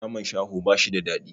Naman shaho bashi da daɗi